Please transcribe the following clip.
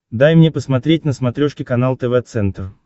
дай мне посмотреть на смотрешке канал тв центр